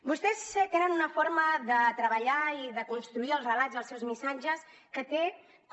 vostès tenen una forma de treballar i de construir els relats i els seus missatges que té com